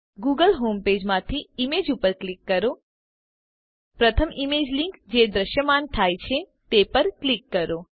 Google home page માંથી images ઉપર click કરો પ્રથમ ઈમેજ લીંક જે દ્રશ્યમાન થાય છે તે પર ક્લિક કરો